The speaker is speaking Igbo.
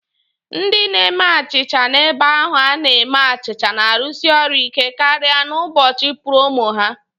Ndị na-eme achịcha n'ebe ahu a na-eme achịcha na-arụsi ọrụ ike karịa n'ụbọchị púrómò ha